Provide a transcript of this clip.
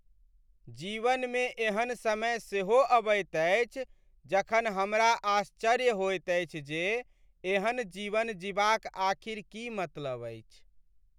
जीवनमे एहन समय सेहो अबैत अछि जखन हमरा आश्चर्य होइत अछि जे एहन जीवन जीबाक आखिर की मतलब अछि?